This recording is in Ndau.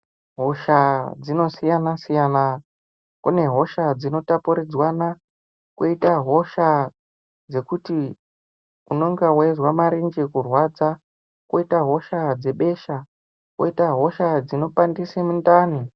Hosha dzinosiyana siyana kune hosha dzinotapuridzwana koita hosha dzekuti unenge weizwa marenje kurwadza koita hosha dzebesha koita hosha dzinopandisa mundani.